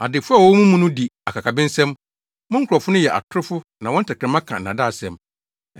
Adefo a wɔwɔ mo mu no di akakabensɛm; mo nkurɔfo no yɛ atorofo na wɔn tɛkrɛma ka nnaadaasɛm.